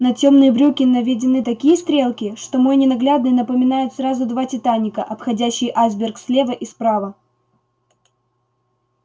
на тёмные брюки наведены такие стрелки что мой ненаглядный напоминает сразу два титаника обходящие айсберг слева и справа